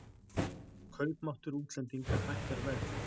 Kaupmáttur útlendinga hækkar verð